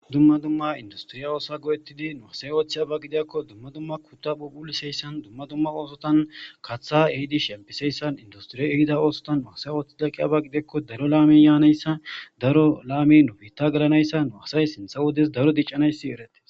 dumma dumma industiriya oosa go7ettidi nuasay ooththi aba gidiakko dumma dumma kutta phubuliseyssan dumma dumma oosotan katha ehidish shempiseyssan industriya ehida oosotan nuasay ooththida qi abaqideekko daro la7amin yaanayssa daro la7amin nobiitta galanayssa nuasay sintha wodes daro diccanayssi erete